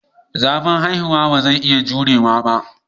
Zafin haihuwa ba zai iya jurewa ba.